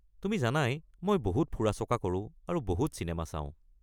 তুমি জানাই মই বহুত ফুৰা-চকা কৰোঁ আৰু বহুত চিনেমা চাওঁ।